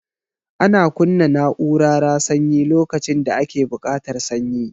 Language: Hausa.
Ana kunna na'urara sanyi lokacin da ake buƙatar sanyi